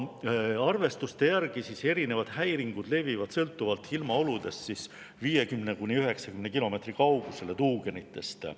Arvestuste järgi levivad erinevad häiringud sõltuvalt ilmaoludest 50–90 kilomeetri kaugusele tuugenitest.